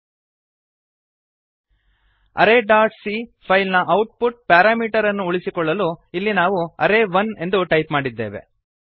arrayಸಿಎ array dot C file ನ output parameter ಅನ್ನು ಉಳಿಸಿಕೊಳ್ಳಲು ಇಲ್ಲಿ ನಾವು ಅರ್ರೇ1 ಅರೇ ಒನ್ ಎಂದು ಟೈಪ್ ಮಾಡಿದ್ದೇವೆ